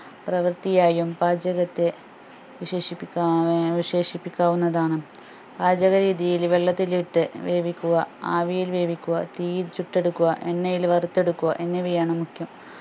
പ്രവൃത്തിയായും പാചകത്തെ വിശേഷിപ്പിക്കാ ഏർ വിശേഷിപ്പിക്കാവുന്നതാണ് പാചക രീതികൾ വെള്ളത്തിലിട്ട് വേവിക്കുക ആവിയിൽ വേവിക്കുക തീയിൽ ചുട്ടെടുക്കുക എണ്ണയിൽ വറുത്തെടുക്കുക എന്നിവയാണ് മുഖ്യം